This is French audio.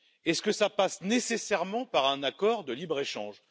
Est ce que ça passe nécessairement par un accord de libre échange?